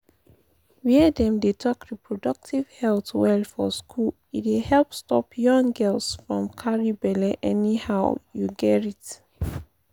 wey dem dey talk reproductive health well for school e dey help stop young girls from carry belle anyhow you gerrit.